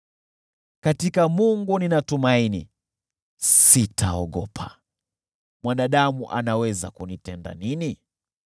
katika Mungu ninatumaini, sitaogopa. Mwanadamu anaweza kunitenda nini?